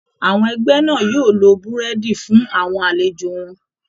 Àwọn ẹgbẹ́ náà yóò lo Búrẹ́dì fún àwọn àlejò wọn